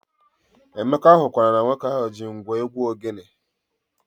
Emeka hụkwara na nwoke ahụ ji ngwo egwu ogene